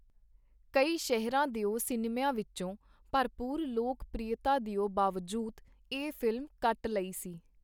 ਕਈ ਸ਼ਹਿਰਾਂ ਦਿਓ ਸਿਨਮਿਆਂ ਵਿਚੋਂ, ਭਰਪੂਰ ਲੋਕ ਪ੍ਰੀਅਤਾ ਦਿਓ ਬਾਵਜੂਦ ਇਹ ਫ਼ਿਲਮ ਕੱਟ ਲਈ ਗਈ.